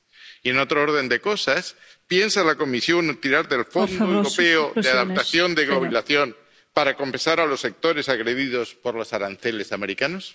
Y en otro orden de cosas, ¿piensa la Comisión tirar del Fondo Europeo de Adaptación de Gobernación para compensar a los sectores agredidos por los aranceles americanos?